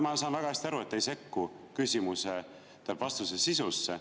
Ma saan väga hästi aru, et te ei sekku vastuse sisusse.